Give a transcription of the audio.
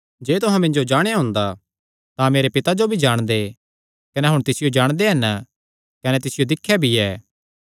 जे तुहां मिन्जो जाणेया हुंदा तां मेरे पिता जो भी जाणदे कने हुण तिसियो जाणदे हन कने तिसियो दिख्या भी ऐ